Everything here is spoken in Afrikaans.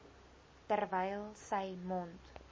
terwyl sy mond